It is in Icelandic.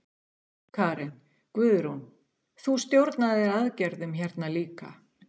Karen: Guðrún, þú stjórnaðir aðgerðum hérna líka?